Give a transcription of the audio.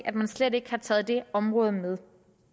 at man slet ikke har taget det område med